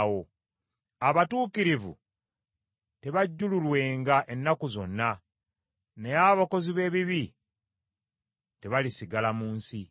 Abatuukirivu tebajjululwenga ennaku zonna, naye abakozi b’ebibi tebalisigala mu nsi.